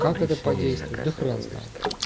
как это подействует да хрен знает